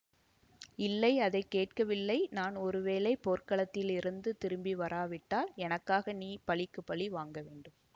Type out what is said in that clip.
இல்லை அதை கேட்கவில்லை நான் ஒருவேளை போர்க்களத்திலிருந்து திரும்பி வராவிட்டால் எனக்காக நீ பழிக்கு பழி வாங்கவேண்டும்